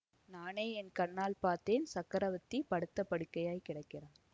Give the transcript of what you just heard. நானே என் கண்ணால் பார்த்தேன் சக்கரவர்த்தி படுத்த படுக்கையாய்க் கிடக்கிறார்